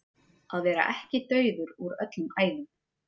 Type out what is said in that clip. Að vera ekki dauður úr öllum æðum